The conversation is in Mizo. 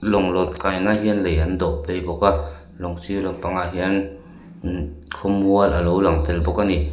lawng lawn kai nan hian lei an dawh phei bawk a lawng sir lampangah hian imm khawmual a lo lang tel bawk a ni.